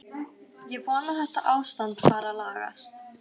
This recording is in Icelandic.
Ég vona að þetta ástand fari að lagast.